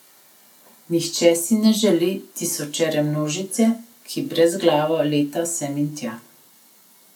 Nihče si ne želi tisočere množice, ki brezglavo leta sem in tja.